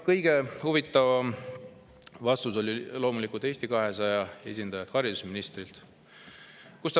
Kõige huvitavam vastus oli loomulikult Eesti 200 esindajal, haridusministril.